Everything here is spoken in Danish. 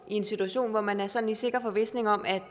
en situation hvor man er sådan i sikker forvisning om at